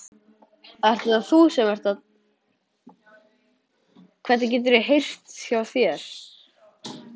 Botnaði ekkert í mér að vilja ekki taka þessu kostaboði.